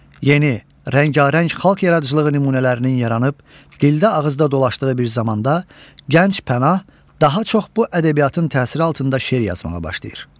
Yeni, rəngarəng xalq yaradıcılığı nümunələrinin yaranıb, dildə-ağızda dolaşdığı bir zamanda gənc Pənah daha çox bu ədəbiyyatın təsiri altında şeir yazmağa başlayır.